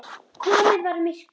Komið var myrkur.